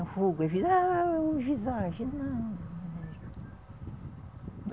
O fogo é visagem não.